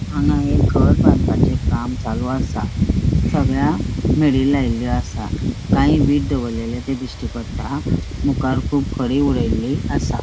हांगा एक घर बांदपाचें काम चालू असा सगळ्या मेडी लायलेल्यो असा काही वीट दवरलेले ते दिश्टी पट्टा मुकार कुब खड़ी उड़ेली असा.